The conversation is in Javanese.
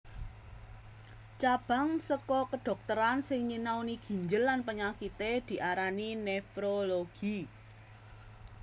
Cabang saka kadhokteran sing nyinaoni ginjel lan panyakité diarani nefrologi